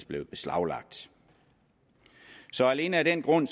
blevet beslaglagt så alene af den grund